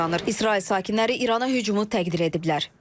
İsrail sakinləri İrana hücumu təqdir ediblər.